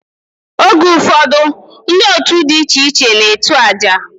Oge ufodu ndi otu di iche iche na etu aja.